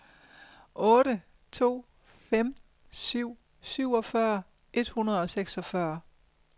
otte to fem syv syvogfyrre et hundrede og seksogfyrre